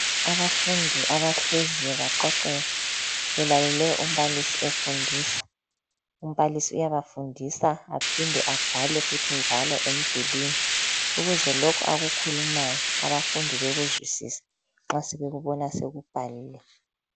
Abafundi abahleziyo baqoqeka belalele umbalisi efundisa. Umbalisi uyabafundisa aphinde abhale futhi njalo emdulini, ukuze lokho akukhulumayo abafundi bakuzwisise nxa sebekubona sekubhaliwe.